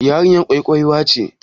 Yarinyar kyakkyawa ce?